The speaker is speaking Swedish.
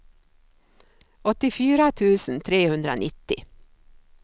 åttiofyra tusen trehundranittio